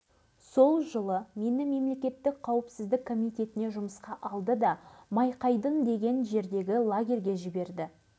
алғашқы белгіні бекболов деген кісінің қонысына қойдық ол кісі қазір қайтыс болған жылы алғаш сынақты сол